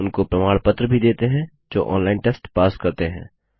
उनको प्रमाण पत्र भी देते हैं जो ऑनलाइन टेस्ट पास करते हैं